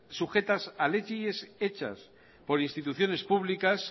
sujetas a leyes hechas por instituciones públicas